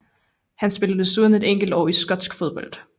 Han spillede desuden et enkelt år i skotsk fodbold